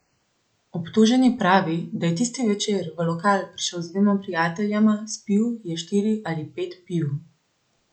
Obtoženi pravi, da je tisti večer v lokal prišel z dvema prijateljema, spil je štiri ali pet piv.